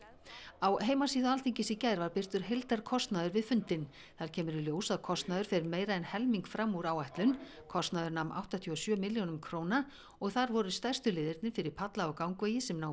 á heimasíðu Alþingis í gær var birtur heildarkostnaður við fundinn þar kemur í ljós að kostnaður fer meira en helming fram úr áætlun kostnaður nam áttatíu og sjö milljónum króna og þar voru stærstu liðirnir fyrir palla og gangvegi sem námu